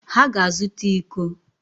Ha ga-azụta íkó